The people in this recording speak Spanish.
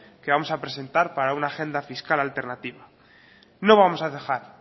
que vamos a presentar para una agenda fiscal alternativa no vamos a cejar